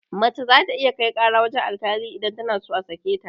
Mace za ta iya kai ƙara wurin alkali in tana so a sake ta